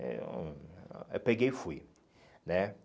Eh hum eu peguei e fui, né?